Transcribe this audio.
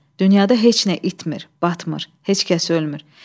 Dünyada heç nə itmir, batmır, heç kəs ölmür.